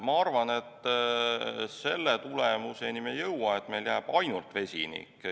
Ma arvan, et selle tulemuseni me ei jõua, et meil jääb ainult vesinik.